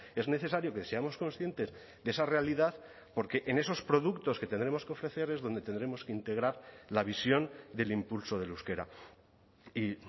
es necesario que seamos conscientes de esa realidad porque en esos productos que tendremos que ofrecer es donde tendremos que integrar la visión del impulso del euskera y